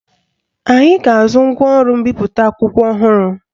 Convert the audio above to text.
Anyị ga-azụ ngwaọrụ mbipụta akwụkwọ ọhụrụ